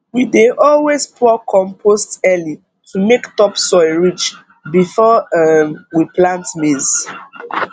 we dey always pour compost early to make topsoil rich before um we plant maize